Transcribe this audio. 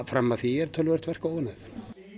fram að því er töluvert verk óunnið